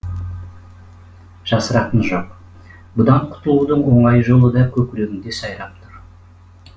жасыратыны жоқ бұдан құтылудың оңай жолы да көкірегіңде сайрап тұр